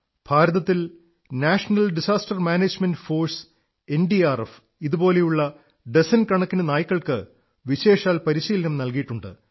ഭാരതത്തിൽ national disaster management force NDRF ഇതുപോലെയുള്ള dozen കണക്കിനു നായ്ക്കൾക്ക് വിശേഷാൽ പരിശീലനം നല്കിയിട്ടുണ്ട്